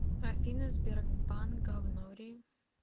афина сбербанк говнори